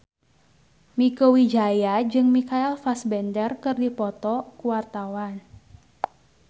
Mieke Wijaya jeung Michael Fassbender keur dipoto ku wartawan